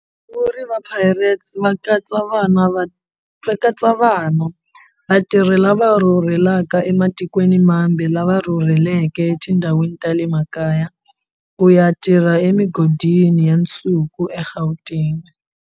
Vasunguri va Orlando Pirates va katsa vana vatirhi lava rhurhelaka ematikweni mambe lava rhurheleke etindhawini ta le makaya ku ya tirha emigodini ya nsuku eGauteng.